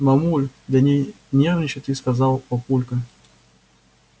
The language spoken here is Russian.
мамуль да не нервничай ты сказал папулька